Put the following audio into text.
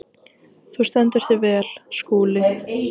Þú stendur þig vel, Skúli!